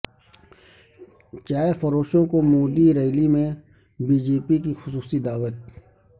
چائے فروشوں کو مودی ریلی میں بی جے پی کی خصوصی دعوت